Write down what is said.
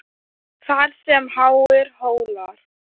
Þar sem háir hólar